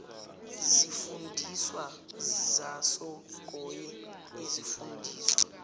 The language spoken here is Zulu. zifundiswa zasongoye izifundiswa